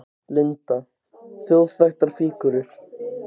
Linda: Þjóðþekktar fígúrur?